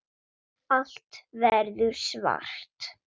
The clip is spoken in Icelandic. Allt verður svart.